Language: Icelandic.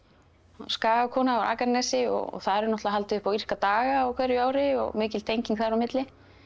skagakona frá Akranesi og þar eru náttúrulega haldið upp á írska daga á hverju ári og mikil tenging þar á milli